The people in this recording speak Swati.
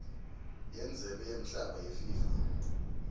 yendzebe yemhlaba yefifa